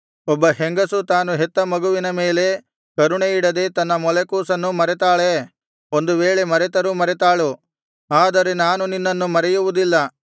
ಒಬ್ಬ ಹೆಂಗಸು ತಾನು ಹೆತ್ತ ಮಗುವಿನ ಮೇಲೆ ಕರುಣೆಯಿಡದೆ ತನ್ನ ಮೊಲೆಕೂಸನ್ನು ಮರೆತಾಳೇ ಒಂದು ವೇಳೆ ಮರೆತರು ಮರೆತಾಳು ಆದರೆ ನಾನು ನಿನ್ನನ್ನು ಮರೆಯುವುದಿಲ್ಲ